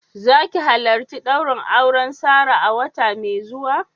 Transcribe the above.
Za ki halarci daurin auren Sarah a wata mai zuwa?